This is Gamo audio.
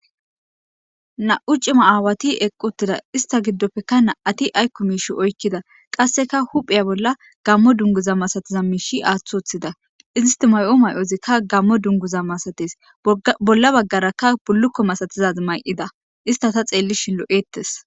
Na77u cima aawati eqqida uttida istta giddope na77ati ayko miishe oykida qasseka huphe bolla gaamo dunguza masatiza miishshi aaththi woththida isti mayo may7ozi tas gaamo dungguza masates bolla baggaraka bulluko masatizazi may7ida istika ta xellishin lo7eetes.